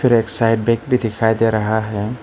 एक side bag भी दिखाई दे रहा है।